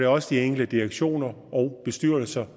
også de enkelte direktioner og bestyrelser